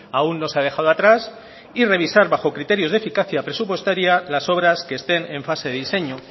aún no se ha dejado atrás y revisar bajo criterios de eficacia presupuestaria las obras que estén en fase de diseño